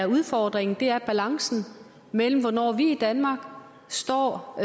udfordringen er balancen imellem hvornår vi i danmark står og